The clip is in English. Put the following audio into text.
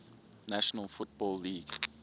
national football league